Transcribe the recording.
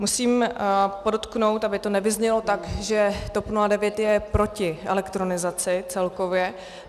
Musím podotknout, aby to nevyznělo tak, že TOP 09 je proti elektronizaci celkově.